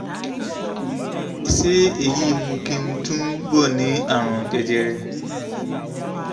ṣé èyí ń mú kí n túbọ̀ ní àrùn jẹjẹrẹ?